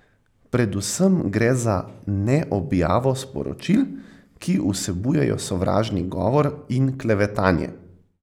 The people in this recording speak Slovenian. Predvsem gre za neobjavo sporočil, ki vsebujejo sovražni govor in klevetanje.